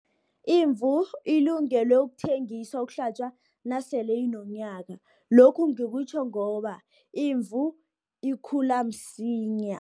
Imvu ilungelwe ukuthengiswa, ukuhlatjwa, nasele inonyaka, lokhu ngikutjho ngoba imvu ikhula msinya.